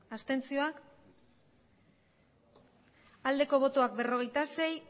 abstentzioa berrogeita sei